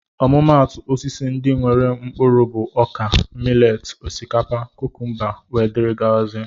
Ọmụmatu Osisi ndị nwéré mkpụrụ bụ ọkà, mileti, osikapa, kúkúmba wdz